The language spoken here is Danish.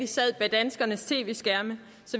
sad bag danskernes tv skærme